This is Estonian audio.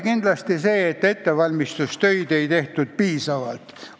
Kindlasti see, et ettevalmistustöid ei tehtud piisavalt.